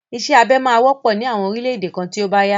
Isẹ́ abẹ máa wọ́pọ̀ ní àwọn orílẹ̀ èdè kan tí ó bá yá.